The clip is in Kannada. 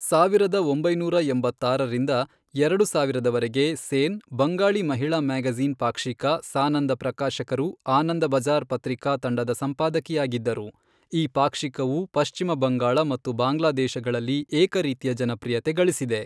ಸಾವಿರದ ಒಂಬೈನೂರ ಎಂಬತ್ತಾರರಿಂದ ಎರಡು ಸಾವಿರದವರೆಗೆ ಸೇನ್ ಬಂಗಾಳಿ ಮಹಿಳಾ ಮ್ಯಾಗಝೀನ್ ಪಾಕ್ಷಿಕ ಸಾನಂದ ಪ್ರಕಾಶಕರು ಆನಂದ ಬಝಾರ್ ಪತ್ರಿಕಾ ತಂಡದ ಸಂಪಾದಕಿಯಾಗಿದ್ದರು ಈ ಪಾಕ್ಷಿಕವು ಪಶ್ಚಿಮ ಬಂಗಾಳ ಮತ್ತು ಬಾಂಗ್ಲಾದೇಶಗಳಲ್ಲಿ ಏಕರೀತಿಯ ಜನಪ್ರಿಯತೆ ಗಳಿಸಿದೆ.